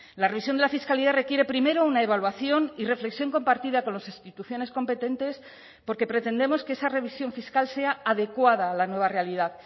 la revisión de la fiscalidad requiere primero una evaluación y reflexión compartida con las instituciones competentes porque pretendemos que esa revisión fiscal sea adecuada a la nueva realidad